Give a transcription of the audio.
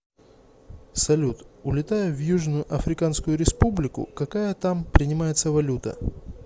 салют улетаю в южно африканскую республику какая там принимается валюта